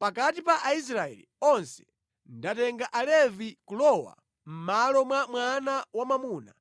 “Pakati pa Aisraeli onse ndatenga Alevi kulowa mʼmalo mwa mwana wamwamuna